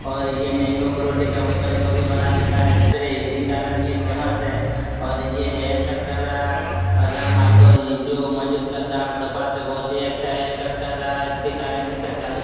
और ये mango Frooti की बोतल को भी बना देता है स्प्रे इसी कारण ये फेमस है। और ये हेयर कट कर रहा बलराम महतो ही जो मौजूद करता है हरतपा से बहुत ही अच्छा हेयर कट कर रहा है इसके कारण इसका चालीस --